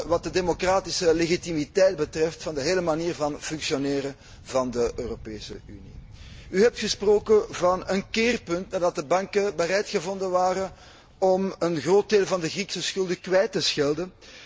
met de democratische legitimiteit van de hele manier van functioneren van de Europese Unie. U heeft gesproken van een keerpunt en gezegd dat de banken bereid gevonden zijn om een groot deel van de Griekse schulden kwijt te schelden.